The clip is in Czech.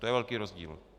To je velký rozdíl.